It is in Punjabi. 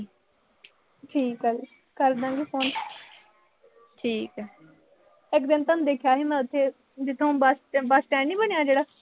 ਠੀਕ ਆ ਜੀ। ਕਰਦਾਂ ਗੇ phone ਇੱਕ ਦਿਨ ਮੈਂ ਤੁਹਾਨੂੰ ਦੇਖਿਆ ਸੀ ਉਥੇ, ਜਿਥੇ ਹੁਣ bus, bus stand ਨੀਂ ਬਣਿਆ ਜਿਹੜਾ